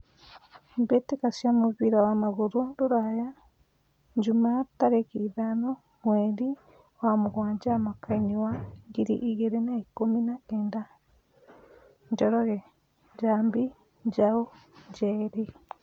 Mbĩtĩka cia mũbira wa magũrũ Ruraya Jumaa tarĩki ithano mweri wa mũgwanja mwakainĩ wa ngiri igĩrĩ na ikũmi na kenda : Njoroge, Njambi, Njau, Njeri.